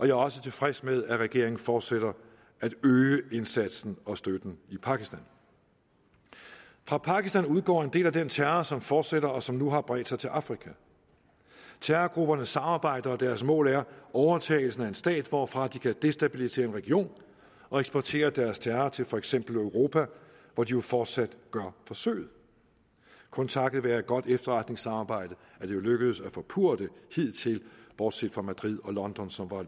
er også tilfreds med at regeringen fortsætter med at øge indsatsen og støtten i pakistan fra pakistan udgår en del af den terror som fortsætter og som nu har bredt sig til afrika terrorgrupperne samarbejder og deres mål er overtagelsen af en stat hvorfra de kan destabilisere en region og eksportere deres terror til for eksempel europa hvor de jo fortsat gør forsøget kun takket være et godt efterretningssamarbejde er det lykkedes at forpurre det hidtil bortset fra madrid og london som var